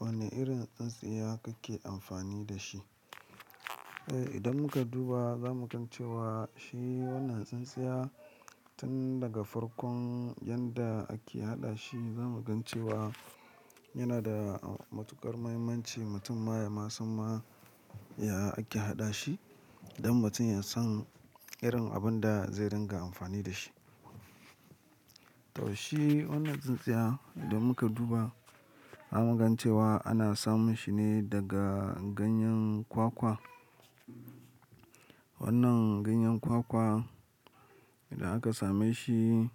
Wane irin tsintsiya kake amfani da shi? Eh, idan muka duba za mu gan cewa shi wannan tsintsiya tun daga farkon yanda ake haɗa shi, za mu gan cewa yana da matuƙar mahimmanci mutum ma ya masan ma ya ake haɗa shi don mutum ya san irin abun da zai dinga amfani da shi. To shi wannan tsintsiya idan muka duba, za mu gan cewa ana samun shi ne daga ganyen kwakwa. Wannan ganyen kwakwa idan aka same shi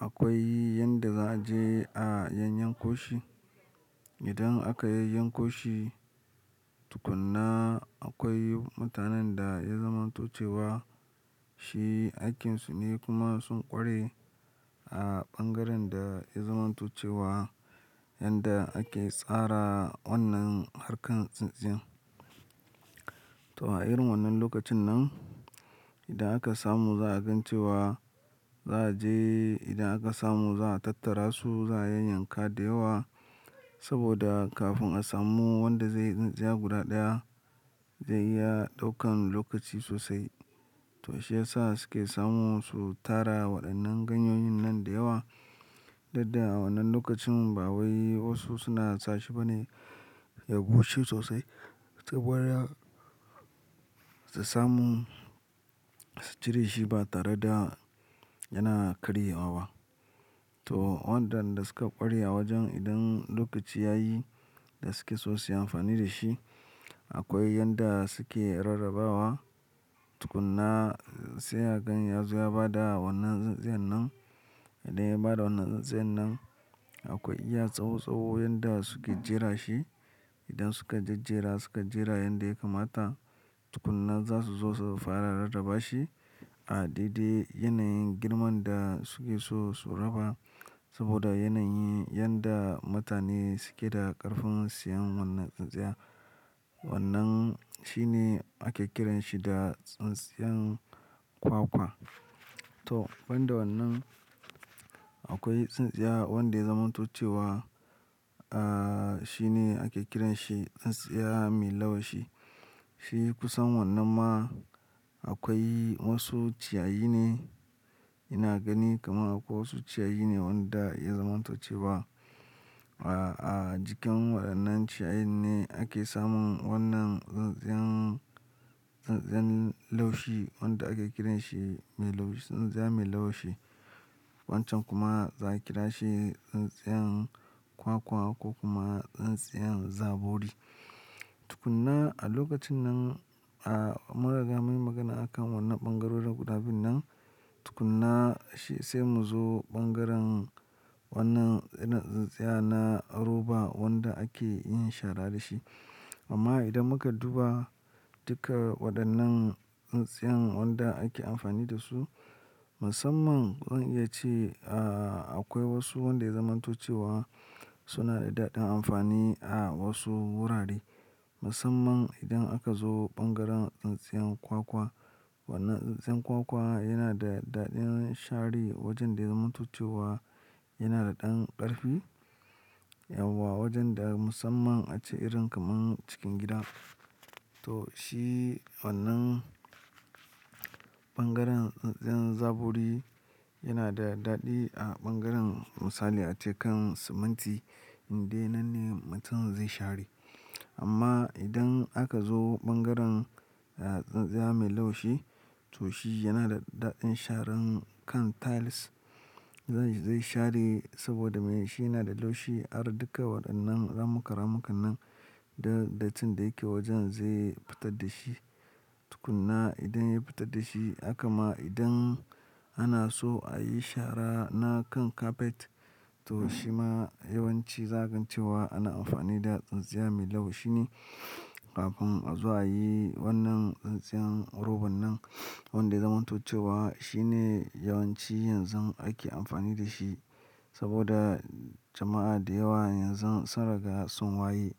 akwai yanda za a je a yanyanko shi. Idan aka yanyanko shi tukuna akwai mutanen da ya zaman to cewa shi aikinsu ne kuma sun ƙware a ɓangaren da ya zaman to cewa yanda ake tsara wannan harkan tsintsin yan. To a irin wannan lokacin nan idan aka samu za a gan cewa za a je idan aka samu za a tattara su, za a yanyanka da yawa saboda kafin a samu wanda zai yi tsintsiya guda ɗaya zai iya ɗaukan lokaci sosai. To shi ya sa suke samu su tara waɗannan ganyoyin nan da yawa. Ta yadda wannan lokacin ba wai wasu suna sashi ba ne ya bushe sosai saboda su samu su cire shi ba tare da yana karyewa ba. To waɗannan da suka ƙware a wajen idan lokaci ya yi da suke so su yi amfani da shi, akwai yanda suke rarrabawa. Tukuna sai hakan ya zo ya bada wannan tsintsiyan nan. Idan ya bada wannan tsintsiyan nan akwai iya tsawo tsawo yanda suke jera shi. Idan suka jejjera suka jera yanda ya kamata, tukuna za su zo su fara rarraba shi a daidai yanayin girman da suke so su raba saboda yanayin yanda mutane suke da ƙarfin siyan wannan tsintsiya. Wannan shi ne ake kiranshi da tsintsiyan kwakwa. To banda wannan akwai tsintsiya wanda ya zaman to cewa, ah, shi ne ake kiranshi tsintsiya mai laushi. Shi kusan wannan ma akwai wasu ciyayi ne ina gani kamar akwai wasu ciyayi ne wanda ya zaman to cewa. Ah, a jikin waɗannan ciyayi ne ake samun wannan tsintsiyan, tsintsiyan laushi wanda ake kiranshi mai laushi, tsintsiya mai laushi. Wancan kuma za a kira shi tsintsiyan kwakwa ko kuma tsintsiyan zabori. Tukuna a lokacin nan, ah, mun riga mun yi magana a kan wannan ɓangarorin guda biyun nan. Tukuna shi sai mu zo ɓangaren wannan irin tsintsiya na roba wanda ake yin shara da shi. Amma idan muka duba duka waɗannan tsintsiyan waɗanda ake amfani da su, musamman zan iya ce, ah, akwai wasu wanda ya zaman to cewa suna da daɗin amfani a wasu wurare. Musamman idan aka zo ɓangaren tsintsiyan kwakwa. Wannan tsintsiyan kwakwa yana da daɗin share wajen da ya zaman to cewa yana da ɗan ƙarfi. Yauwa wajen da musamman a ce irin kamar cikin gida. To shi wannan ɓangaren tsintsiyan zabori yana da daɗi a ɓangaren misali a cekan siminti indai nan ne mutum zai share. Amma idan aka zo ɓangaren, ah, tsintsiya mai laushi to shi yana da daɗin sharan kan tiles. Zai, zai share saboda me? Shi yana da laushi har duka waɗannan ramuka ramukan nan da datti da yake wajen zai fitar da shi. Tukuna idan ya fitar da shi, haka ma idan ana so a yi shara na kan carpet to shi ma yawanci za ka gan cewa ana amfani da tsintsiya mai laushi ne kafin a zo a yi wannan tsintsiyan roban nan wanda ya zaman tucewa. Shi ne yawanci yanzun ake amfani da shi saboda jama'a da yawa yanzu sun riga sun waye.